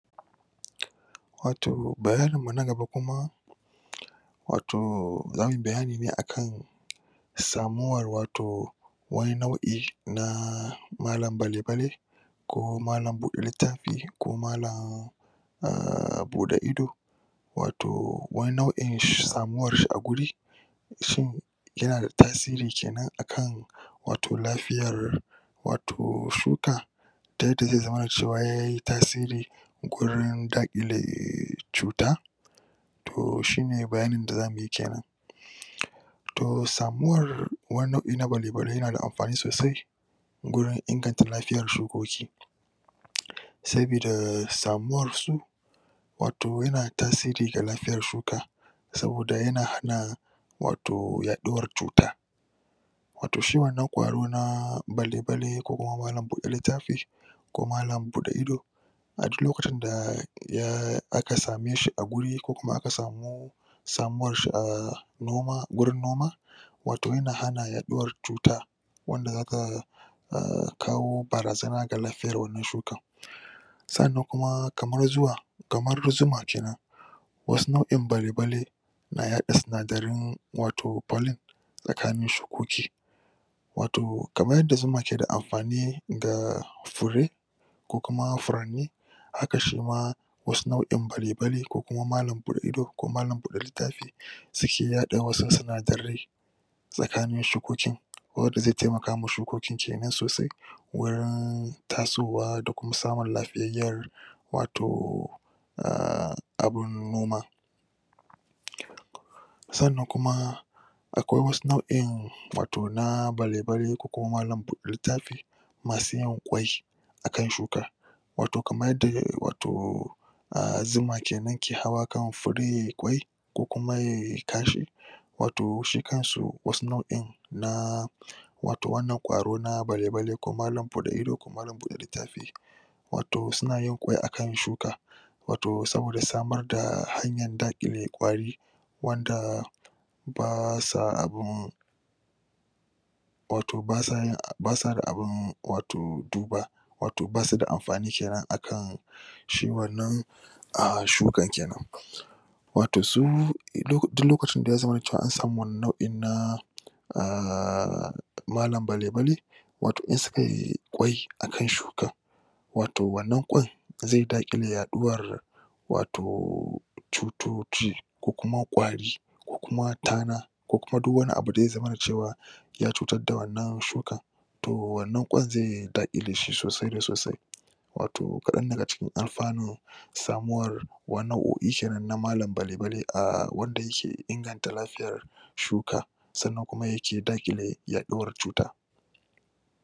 Wato bayanin mu na gaba kuma, wato zamuyi bayani ne akan samuwar wato wani nau'i na malam bale bale ko malan bude littafi ko malan, um bude ido wato wani nau'in samuwarshi a guri shin yana da tasiri kenan akan wato lafiyar wato shuka ta yadda zai zama dacewa yayi tasiri gurin daƘile cuta to shine bayanin da zamuyi kenan um samuwar wani nau'i na bale-bale yana da amfani soasai wurin inganta lafiyar shukoki sabida samuwar su wato yana da tasiri ga lafiyar shuka saboda yana hana wato yaɗuwar cuta wato shi wannan kwaro na bale-bale ko kuma malan bude littafi ko malan bude ido a duk lokacin da um aka same shi a guri kukuma aka samu samuwar shi um noma, gurin noma wato yana hana yaɗuwar cuta wanda zaka a kawo barazana ga lafiyan wannan shuka sannan kuma kamar zuwa kamar zuma kenan wasu nau'in bale-bale na yaɗa sindaran wato pollen tsakanin shukoki wato kaman yanda zuma keda amfani ga fure kukuma furanni haka shima wasu nau'in bale-bale kukuma malan buɗe ido ko malan buɗe littafi suke yaɗa wasu sinadarai tsakanin shukoki wanda zai taimaka ma shukokin kenan sosai wurin tasowa da kuma samun lafiyayyar wato um abun noma sannan kuma akwai wasu nau'in wato na bale-bale ko malan buɗe littafi masu yin kwai akan shuka wato kamar yadda um wato um zuma kenan ke hawa kan fure yayi kwai ko kuma yayi kashi wato shi kansu wani nau'in na wato wannan kwaro na bale-bale ko malan buɗe littafi wato suna yin kwai akan shuka wato saboda samar da hanyar dakile kwari wanda basa abi wato basa abin, basa da abin wato duba wato basuda da amfani kenan akan shi wannan um shukan kenan wato su, duk lokacin da ya zamana cewa an samu wannan nau'in na um malan bale-bale wato in sukayi kwai akan shukan wato wannan kwan zai dakile yaduwar wato cutuci ko kuma kwari ko kuma tana ko kuma duk wani abu da ya zamana cewa ya cutar da wannan shukar to wannan kwan zai dakile shi sosai da sosai wato kaɗan daga cikin alfanun samuwar wani nau'oi kenan na malan bale-bal um wanda yake inganta lafiyar shuka sannan kuma yake dakile yaɗuwar cuta.